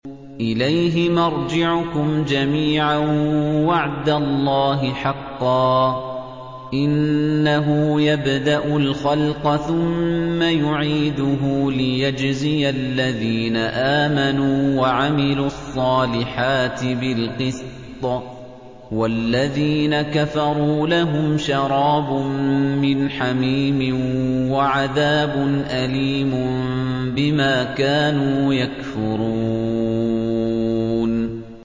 إِلَيْهِ مَرْجِعُكُمْ جَمِيعًا ۖ وَعْدَ اللَّهِ حَقًّا ۚ إِنَّهُ يَبْدَأُ الْخَلْقَ ثُمَّ يُعِيدُهُ لِيَجْزِيَ الَّذِينَ آمَنُوا وَعَمِلُوا الصَّالِحَاتِ بِالْقِسْطِ ۚ وَالَّذِينَ كَفَرُوا لَهُمْ شَرَابٌ مِّنْ حَمِيمٍ وَعَذَابٌ أَلِيمٌ بِمَا كَانُوا يَكْفُرُونَ